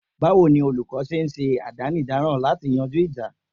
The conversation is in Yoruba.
Báwo ni olúkó ń ṣe àdánidáran lati yanjú ìjà?